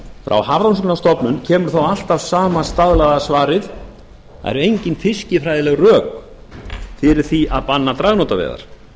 frá hafrannsóknastofnun kemur þó alltaf sama staðlaða svarið það eru engin fiskifræðileg rök fyrir því að banna dragnótaveiðar